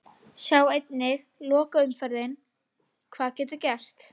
Sjá einnig: Lokaumferðin- Hvað getur gerst?